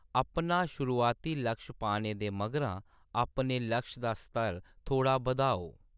अपना शुरुआती लक्ष पाने दे मगरां अपने लक्ष दा स्तर थोह्‌ड़ा बधाओ।